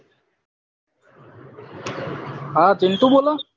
હા પીન્ટુ બોલો